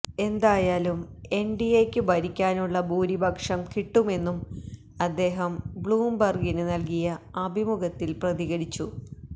എന്തായാലും എന്ഡിഎയ്ക്ക് ഭരിക്കാനുള്ള ഭൂരിപക്ഷം കിട്ടുമെന്നും അദ്ദേഹം ബ്ലൂം ബര്ഗിന് നല്കിയ അഭിമുഖത്തില് പ്രതികരിച്ചു